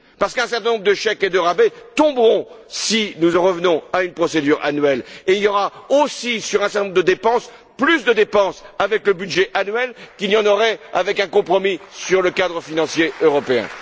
Parce qu'un certain nombre de chèques et de rabais tomberont si nous en revenons à une procédure annuelle et il y aura aussi, sur un certain nombre de dépenses, plus de dépenses avec le budget annuel qu'il n'y en aurait avec un compromis sur le cadre financier européen.